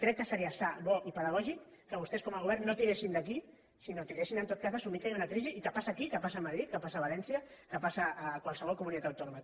crec que seria sa bo i pedagògic que vostè com a govern no tiressin d’aquí sinó que tiressin en tot cas d’assumir que hi ha una crisi i que passa aquí que passa a madrid que passa a valència que passa a qualsevol comunitat autònoma